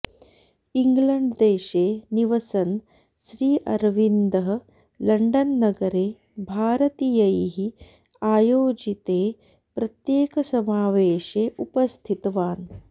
ङ्ग्लण्ड्देशे निवसन् श्री अरविन्दः लण्डन् नगरे भारतीयैः आयोजिते प्रत्येकसमावेशे उपस्थितवान्